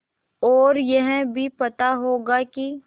और यह भी पता होगा कि